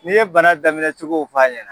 N'i ye bana daminɛcogow f'a ɲɛna